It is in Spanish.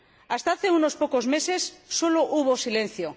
Hasta hace unos pocos meses solo hubo silencio.